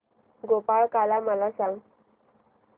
गोपाळकाला मला सांग